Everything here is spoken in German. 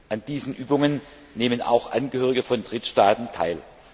An diesen Übungen nehmen auch Angehörige von Drittstaaten teil.